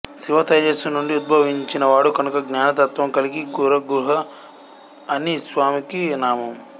శివతేజస్సు నుండి ఉద్భవించినవాడు కనుక జ్ఞానతత్త్వం కలిగి గురుగుహ అని స్వామికి నామం